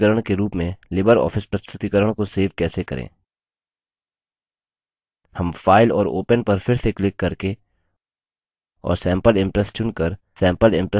हम file और open पर फिर से click करके और सैम्पल impress चुनकर सैम्पल impress प्रस्तुतिकरण प्रेज़ेन्टैशन open करेंगे